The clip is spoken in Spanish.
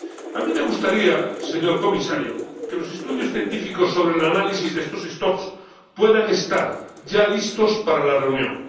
A mí me gustaría, señor Comisario, que los estudios científicos sobre el análisis de estos stocks puedan estar ya listos para la reunión.